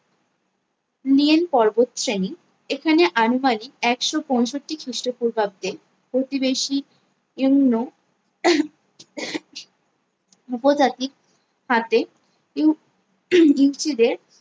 নিয়েন পর্বত শ্রেণী এখানে আনুমানিক একশো পঁয়ষট্টি খ্রীষ্ট পূর্বাব্দে প্রতিবেশী উপজাতি হাতে ও ইউ সি দের